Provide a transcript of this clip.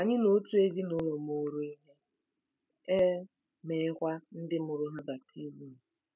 Anyị na otu ezinụlọ mụụrụ ihe, e meekwa ndị mụrụ ha baptizim.